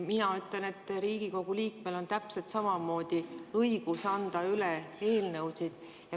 Mina ütlen, et Riigikogu liikmel on täpselt samamoodi õigus anda üle eelnõusid.